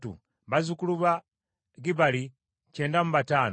bazzukulu ba Gibbali kyenda mu bataano (95).